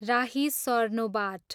राही सर्नोबाट